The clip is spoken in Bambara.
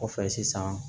Kɔfɛ sisan